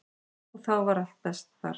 Og þá var allt best þar.